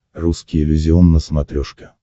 русский иллюзион на смотрешке